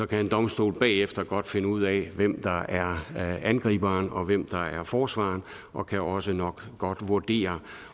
kan en domstol bagefter godt finde ud af hvem der er angriberen og hvem der er forsvareren og kan også nok godt vurdere